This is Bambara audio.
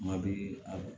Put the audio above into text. Kuma bɛ a